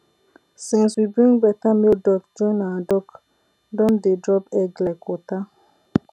since we bring better male duck join our duck don dey drop egg like water